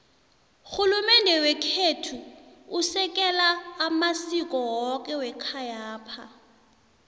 rhulumende wekhethu usekela amasiko woke wekhayapha